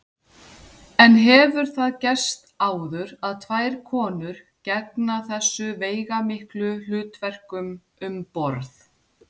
En hefur það gerst áður að tvær konur gegna þessu veigamiklu hlutverkum um borð?